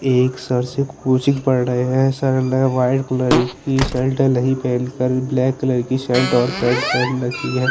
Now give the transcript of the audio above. एक सर से कोचिंग पढ़ रहे है सर ने व्हाइट कलर की शर्ट नहीं पहन कर ब्लैक कलर की शर्ट और पैन्ट पहन रखी है।